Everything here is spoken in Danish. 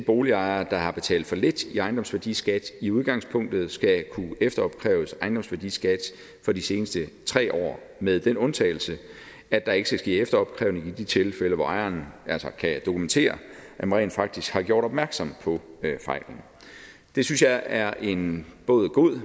boligejere der har betalt for lidt i ejendomsværdiskat i udgangspunktet skal kunne efteropkræves ejendomsværdiskat for de seneste tre år med den undtagelse at der ikke skal ske efteropkrævning i de tilfælde hvor ejeren kan dokumentere at man rent faktisk har gjort opmærksom på fejlen det synes jeg er en både god og